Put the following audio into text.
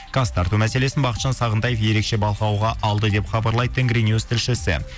газ тарту мәселесін бақытжан сағынтаев ерекше бақылауға алды деп хабарлайды тенгринюс тілшісі